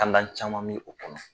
caman mi o kɔnɔ.